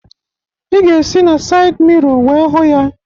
Ị ga-esi n'sayịd miro wee hụ ya